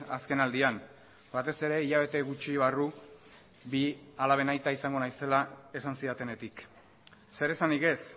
azken aldian batez ere hilabete gutxi barru bi alaben aita izango naizela esan zidatenetik zeresanik ez